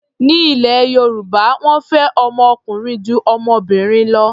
Ní ilẹ̀ Yorùbá, wọ́n fẹ́ ọmọ ọkùnrin ju ọmọbìnrin lọ.